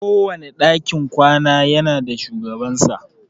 Kowane dakin kwana ya na da shugabansa.